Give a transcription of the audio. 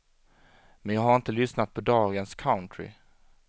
Men jag har inte lyssnat på dagens country.